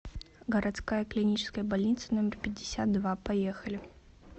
городская клиническая больница номер пятьдесят два поехали